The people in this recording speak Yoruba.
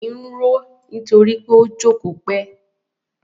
Èyìn ń roó nítorí pó jókòó pẹ́.